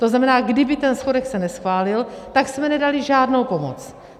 To znamená: kdyby ten schodek se neschválil, tak jsme nedali žádnou pomoc.